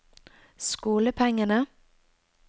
skolepengene